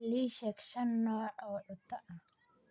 Iisheg Shan nooc oo cuta ahh